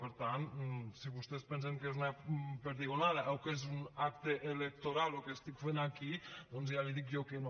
per tant si vostès pensen que és una perdigonada o que és un acte electoral el que estic fent aquí doncs ja li dic jo que no